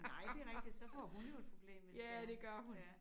Nej det rigtigt så får hun jo et problem hvis det er ja